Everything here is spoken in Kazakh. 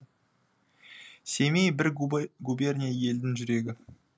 семей бір губерния елдің жүрегі